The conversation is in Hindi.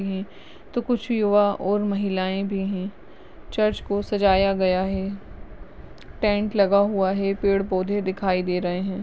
हैं तो कुछ युवा और महिलाएं भी हैं चर्च को सजाया गया है टेंट लगा हुआ है पेड़ पौधे दिखाई दे रहे हैं।